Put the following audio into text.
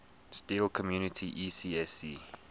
steel community ecsc